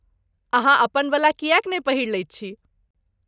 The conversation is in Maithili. अहाँ अपनबला किएक नहि पहिरि लैत छी?